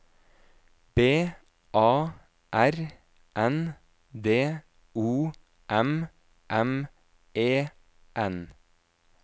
B A R N D O M M E N